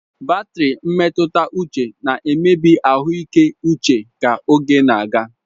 Batri mmetuta uche na-emebi ahuike uche ka oge na-aga